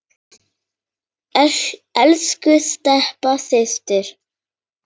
Elsku Stebba systir.